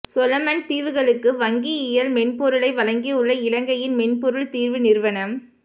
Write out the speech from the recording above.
Solomon தீவுகளுக்கு வங்கியியல் மென்பொருளை வழங்கியுள்ள இலங்கையின் மென்பொருள் தீர்வு நிறுவனம்